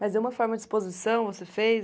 Mas, e uma forma de exposição, você fez?